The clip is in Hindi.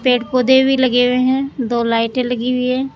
पेड़ पौधे भी लगे हुए हैं दो लाइटें लगी हुई है।